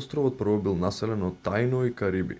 островот прво бил населен од таино и кариби